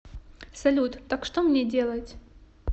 салют так что мне делать